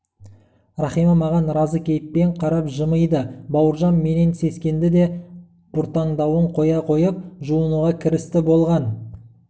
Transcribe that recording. рахима маған разы кейіппен қарап жымиды бауыржан менен сескенді де бұртаңдауын қоя қойып жуынуға кірісті болған